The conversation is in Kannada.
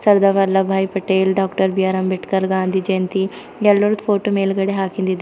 ಸರ್ದಾರ್ ವಲ್ಲಬಾಯ್ ಪಟೇಲ್ ಡಾಕ್ಟರ್ ಬಿಆರ್ ಅಂಬೇಡ್ಕರ್ ಗಾಂಧಿ ಜಯಂತಿ ಎಲ್ಲರ ಫೋಟೋ ಮೇಲ್ಗಡೆ ಹಾಕಿಂದಿದೆ.